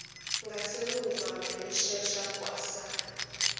ngasemuva wayeshaya kwasani